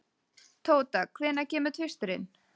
Tóta, hvenær kemur tvisturinn?